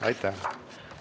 Aitäh!